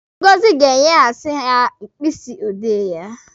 Ngọzi ga-enyehasi ya mkpịsị odee ya.